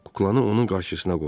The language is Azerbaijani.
Kuklanı onun qarşısına qoydu.